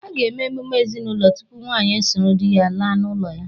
A ga-eme emume ezinụlọ tupu nwanyị esoro di ya laa n’ụlọ ya